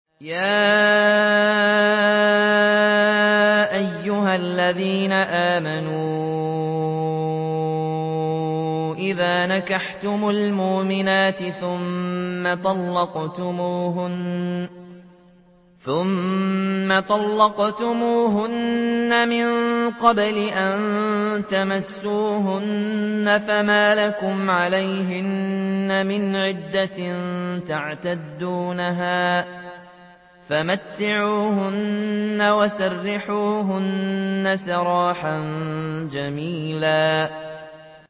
يَا أَيُّهَا الَّذِينَ آمَنُوا إِذَا نَكَحْتُمُ الْمُؤْمِنَاتِ ثُمَّ طَلَّقْتُمُوهُنَّ مِن قَبْلِ أَن تَمَسُّوهُنَّ فَمَا لَكُمْ عَلَيْهِنَّ مِنْ عِدَّةٍ تَعْتَدُّونَهَا ۖ فَمَتِّعُوهُنَّ وَسَرِّحُوهُنَّ سَرَاحًا جَمِيلًا